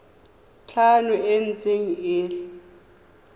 tlhano e ntse e le